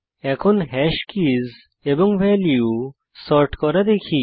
এখন hash keys এবং value sort করা দেখি